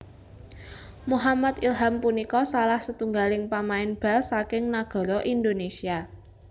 Muhammad Ilham punika salah setunggaling pamain bal saking nagara Indonésia